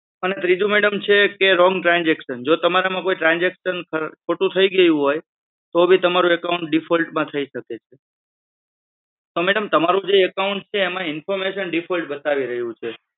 અને ત્રીજું madam છે કે wrong trasaction તમારામાં trasaction ખોટું થઈ ગયું હોય તો ભી તમારું account default માં થી શકે છે. તમારું જે account જે છે એમાં information default બતાવી રહ્યું છે.